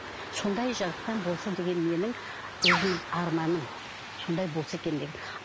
сондай жақтан болса деген менің өзімнің арманым сондай болса екен деген